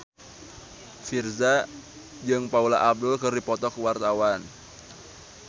Virzha jeung Paula Abdul keur dipoto ku wartawan